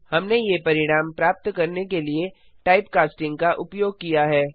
हमने ये परिणाम प्राप्त करने के लिए टाइप कास्टिंग का उपयोग किया है